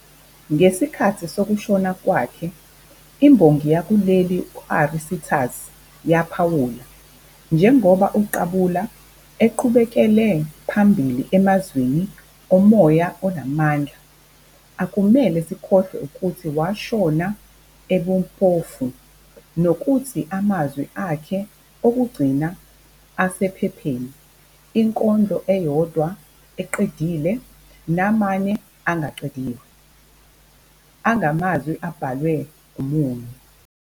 Ngesikhathi sokushona kwakhe, imbongi yakuleli u- Ari Sitas yaphawula-"Njengoba uQabula eqhubekele phambili 'emazweni omoya onamandla,' akumele sikhohlwe ukuthi washona ebumpofu nokuthi amazwi akhe okugcina asephepheni, inkondlo eyodwa eqedile namane angaqediwe, angamazwi abhalwe umunyu.